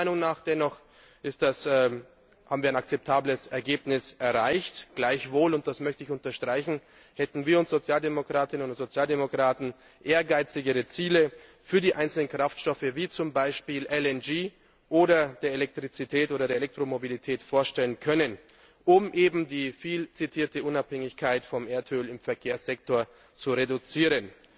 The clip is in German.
Meiner Meinung nach haben wir trotzdem ein akzeptables Ergebnis erreicht. Gleichwohl das möchte ich unterstreichen hätten wir Sozialdemokratinnen und Sozialdemokraten uns ehrgeizigere Ziele für die einzelnen Kraftstoffe wie zum Beispiel LNG oder für die Elektrizität oder die Elektromobilität vorstellen können, um die vielzitierte Abhängigkeit vom Erdöl im Verkehrssektor zu reduzieren.